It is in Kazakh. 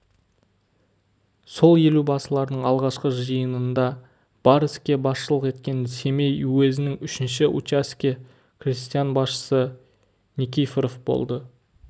сол елубасылардың алғашқы жиынында бар іске басшылық еткен семей уезінің үшінші учаске крестьян басшысы никифоров болды